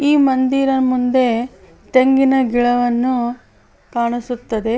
ಈ ಮಂದಿರ ಮುಂದೆ ತೆಂಗಿನ ಗಿಡವನ್ನು ಕಾಣಿಸುತ್ತದೆ .